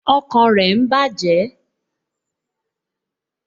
Ọkàn rẹ ń bàjẹ́